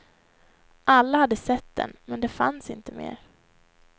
Alla hade sett den, men den fanns inte mer.